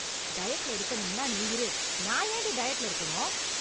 டயட்ல இருக்கணும்னா நீ இரு... நான் ஏண்டி டயட்ல இருக்கணும்...